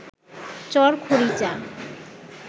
চর খরিচা